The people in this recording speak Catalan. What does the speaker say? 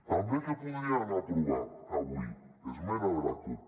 també què podrien aprovar avui esmena de la cup